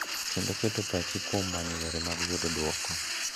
Kendo keto pach kuom manyo yore mag yudo duoko,